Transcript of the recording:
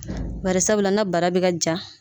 Barisabula na bara bɛ ka ja.